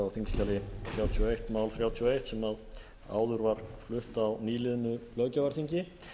og eitt mál þrjátíu og eitt sem áður var flutt á nýliðnu löggjafarþingi